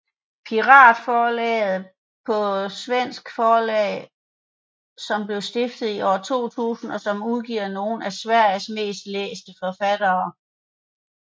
Piratförlaget er et svensk forlag som blev stiftet i år 2000 og som udgiver nogle af Sveriges mest læste forfattere